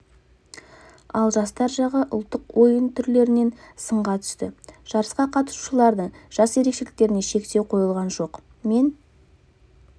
ал жастар жағы ұлттық ойын түрлерінен сынға түсті жарысқа қатысушылардың жас ерекшеліктеріне шектеу қойылған жоқ мен